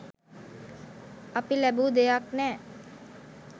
අපි ලැබූ දෙයක් නෑ.